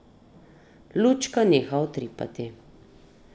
Lučka neha utripati.